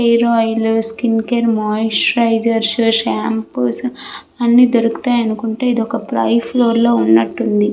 Hair oil skin care moisturiser shampoos అన్నీ దొరుకుతాయి ఎందుకంటే ఇదొక పై ఫ్లోర్ లో ఉన్నట్టు ఉంది.